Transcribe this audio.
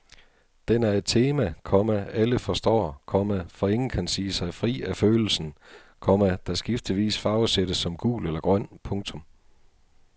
Den er et tema, komma alle forstår, komma for ingen kan sige sig fri af følelsen, komma der skiftevis farvesættes som gul eller grøn. punktum